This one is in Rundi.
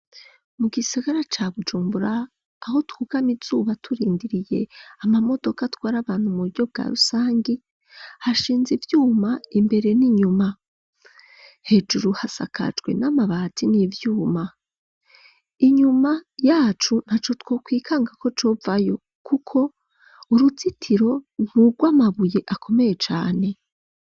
Mu gisigara ca Bujumbura, aho twugama izuba, turindiriye amamodoka, atwara abantu, mu buryo bwa rusangi, hashinze ivyuma, imbere n'inyuma; hejuru, hasakajwe n'amabati, n'ivyuma; inyuma yacu, ntaco twokwikanga ko, covayo, kuko uruzitiro, ni urw'amabuye, akomeye cane.